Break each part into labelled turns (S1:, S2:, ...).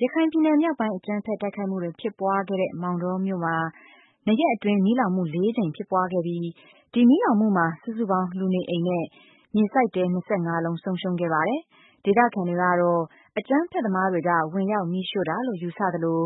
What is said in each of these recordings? S1: ရခိုင်ပြည်နယ် မြောက်ပိုင်း အကြမ်းဖက်တိုက်ခိုက်မှုတွေဖြစ်ပွားခဲ့တဲ့ မောင်တောမြို့မှာ ၂ရက်အတွင်းမီးလောင်မှု ၄ကြိမ်ဖြစ်ပွားခဲ့ပြီးဒီမီးလောင်မှုမှာ စုစုပေါင်းလူနေအိမ် နဲ့ မြေစိုက်တဲ၂၅လုံး ဆုံးရှုံးခဲ့ပါတယ်။ ဒေသခံတွေက အကြမ်းဖက်သမားတွေက ဝင်ရောက်မီးရှိုတာလို့ ယူဆသလို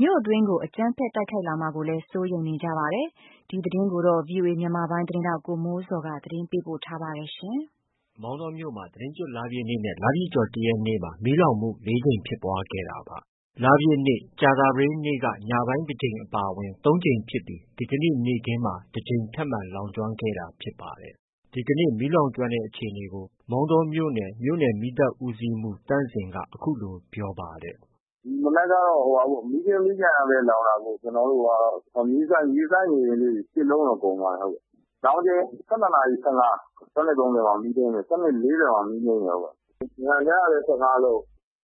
S1: မြို့အတွင်းကို အကြမ်းဖက်တိုက်ခိုက်လာမှာကို စိုးရိမ်နေကြပါတယ်။ ဒီသတင်းကိုတော့ ဗီအိုအေမြန်မာပိုင်းရဲ့သတင်းထောက် ကိုမိုးဇော်က တင်ပြထားပါတယ်။ မောင်တောမြို့မှာ သီတင်းကျွတ်လပြည့်နေ့နဲ့ လပြည့်ကျော်တရက်နေ့မှာ မီးလောင်မှု ၄ကြိမ်ဖြစ်ပွားခဲ့တာပါ။ လပြည့်နေ့ က ညပိုင်းတကြိမ်အပါအဝင် ၃ကြိမ်ဖြစ်ပြီး ဒီကနေ့ နေ့ခင်းမှာ တကြိမ်ထပ်မံလောင်ကြွမ်းခဲ့တာဖြစ်ပါတယ်။ ဒီကနေ့ မီးလောင်ကြွမ်းတဲ့အခြေအနေကို မောင်တောမြို့နယ် မီးသတ်ဦးစီးမှုးသန့်ဇင်က အခုလို ပြောပါတယ်
S2: ။ “ မနက်ကတော့ မီးကြွင်းမီးကျန်ကပဲ လောင်တာ။ မြေစိုက်အိမ်လေးတွေ ၈လုံးတော့ ကုန်သွားတယ်။ လောင်ချိန် ၁၂နာရီ ၁၅၊ ၁၂-၃၀မှာ မီးထိန်းတယ်။ ၁၂-၄၀မှာ မီးငြိမ်းတယ်။ ညကလည်း ၁၅လုံး၊ ”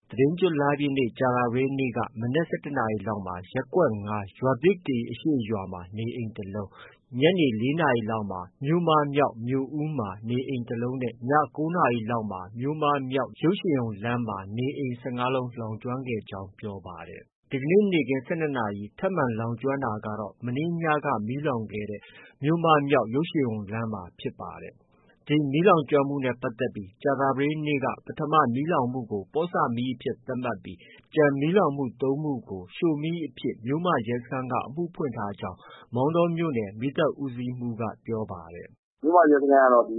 S1: သီတင်းကျွတ်လပြည့်နေ့ ကြာသပတေးနေ့က မနက် ၁၁နာရီလောက်မှာ ရပ်ကွက်၅ ရွာသစ်ကေ အရှေ့ရွာမှာ နေအိမ်တလုံး၊ ညနေ ၄နာရီလောက်မှာ မြို့မမြောက် မြို့ဦးမှာ နေအိမ် ၁လုံးနဲ့ ည ၉နာရီလောက်မှာ မြို့မမြောက် ရုပ်ရှင်ရုံလမ်းမှာ နေအိမ် ၁၅လုံးလောင်ကြွမ်းခဲ့ကြောင်း ပြောပါတယ်။ ဒီကနေ့ နေ့ခင်း ၁၂နာရီမှာ ထပ်မံလောင်ကြွမ်းတာကတော့ မနေ့ညက မီးလောင်ခဲ့တဲ့ မြို့မမြောက် ရုပ်ရှင်ရုံလမ်းမှာဖြစ်ပါတယ်။ ဒီမီးလောင်မှုတွေနဲ့ပတ်သက်ပြီး ကြာသပတေးနေ့က ပထမမီးလောင်မှုကို ပေါ့ဆမီးအဖြစ်သတ်မှတ်ပြီး ကျန် လောင်ကြွမ်းမှု ၃ကြိမ်ကို ရှို့မီးအဖြစ် မြို့မ ရဲစခန်းက အမှုဖွင့်ထားကြောင်းလည်း မောင်တောမြို့နယ် မီးသတ်ဦးစီးမှုးကပြောပါတယ်။
S2: “ မြို့မရဲစခန်းကတော့ ရှို့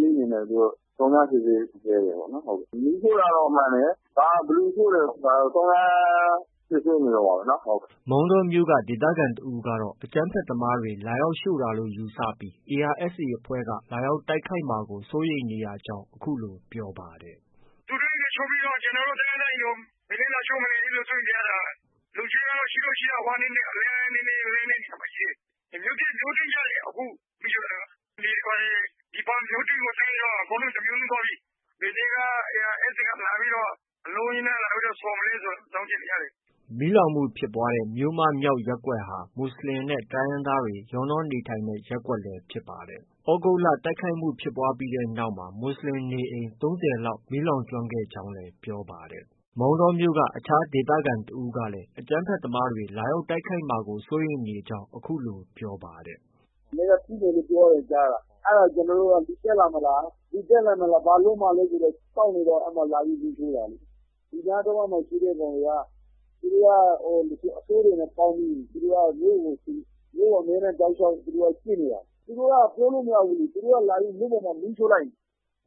S2: မီးအနေနဲ့ စုံစမ်းစစ်ဆေးဆဲပဲပေါ့။ မီးရှို့တာတော့ မှန်တယ်။ ဘယ်သူရှိုတယ်ဆိုတာတော့ စုံစမ်းစစ်ဆေးနေဆဲပဲ။
S1: ” မောင်တောမြို့က ဒေသခံတဦးကတော့ အကြမ်းဖက်သမားတွေက လာရောက်ရှို့တာလို့ ယူဆပြီး ARSAအဖွဲ့က လာရောက်တိုက်ခိုက်မှာကို စိုးရိမ်နေရကြောင်း အခုလို ပြောပါတယ်
S2: ။ “ သူတို့ အိမ်တွေ ရှို့ပြီးတော့ ကျနော်တို့ တိုင်းရင်းသားအိမ်တွေ ဘယ်နေ့ လာရှို့မလဲ စိုးရိမ်နေရတာ။ လုံခြုံရေးကတော့ ရှိတော့ ရှိတာပေါ့။ အလှမ်းနည်းနည်းဝေးတဲ့နေရာမှာ ရှိတယ်။ မြို့တွင်းကျတယ် အခုမီးရှို့တာက ၊ လေတွေဘာတွေ မြို့တွင်းကို တိုက်ရင်တော့ တမြို့လုံးသွားပြီ။ ဘယ်နေ့က ARSA က အလုံးအရင်းနဲ့ လာပြီးတော့ ဆော်မလဲဆိုတာ စောင့်က
S1: ြည့်နေရတယ်။ ” မီးလောင်မှုဖြစ်ပွားတဲ့ မြို့မ မြောက်ရပ်ကွက်ဟာ မူဆလင်နဲ့ တိုင်းရင်းသားတွေ ရောနှောနေထိုင်တဲ့ ရပ်ကွက်လည်း ဖြစ်ပါတယ်။ သြဂုတ်လ တိုက်ခိုက်မှုဖြစ်ပွားပြီးနောက်မှာ မူဆလင်နေအိမ် ၃၀လောက် မီးလောင်ကြွမ်းခဲ့ကြောင်းလည်း ပြောပါတယ်။ အခြားဒေသခံတိုင်းရင်းသားတဦးကလည်း အကြမ်းဖက်သမားတွေ တိုက်ခိုက်မှာကို စိုးရိမ်နေရကြောင်း အခုလို ပြောပါတယ်
S2: ။ “မနေ့က ထူးမယ်လို့တော့ ကြားတယ်။ ကျနော်တို့က လူတက်လားမလား၊ ဘာလုပ်မှာလဲဆိုပြီး စောင့်နေတော့ လာပြီး မီးရှိုတာလေ။ ဒီနားတဝှိုက်မှာ ရှိတဲ့ ကောင်တွေက သူတို့က အဆိုးတွေနဲ့ ပေါင်းပြီး မြို့ကို သူတို့က တောက်လျှောက် ကြည့်နေတာ။ သူတို့က ပြောလို့ မရဘူး။ သူတို့ကလာပြီး မြို့ပေးမှာ မီးရှို့လိုက်ရင်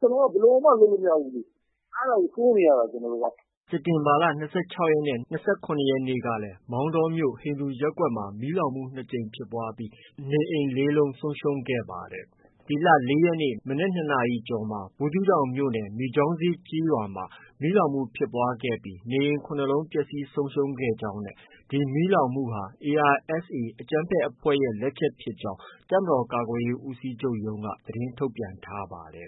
S2: ကျနော်တို့ ဘယ်လိုမှ လုပ်လို့ မရဘူး။ အဲဒါကို စိုးရိမ်နေရတာ ကျနော်တို့က။
S1: ” စက်တင်ဘာလ ၂၆နဲ့ ၂၇ရက်နေ့ကလည်း မောင်တောမြို့ ဟိန္ဒူရပ်ကွက်မှာ မီးလောင်မှု ၂ကြိမ်ဖြစ်ပွားပြီး နေအိမ် ၄လုံး ဆုံးရှုံးခဲ့ပါတယ်။ ဒီလ ၄ရက်နေ့ မနက် ၂နာရီကျော်မှာ ဘူးသီးတောင်မြို့နယ် မိကျောင်းဈေးကျေးရွာမှာ မီးလောင်မှုဖြစ်ပွားခဲ့ပြီး နေအိမ်၇လုံးပျက်ဆီးဆုံးရှုံးခဲ့ကြောင်းနဲ့ ဒီမီးလောင်မှုဟာ ARSA အကြမ်းဖက်အဖွဲ့ရဲ့လက်ချက်ဖြစ်ကြောင်း တပ်မတော်ကာကွယ်ရေးဦးစီးချုပ်ရုံးက သတင်းထုတ်ပြန်ထားပါတယ်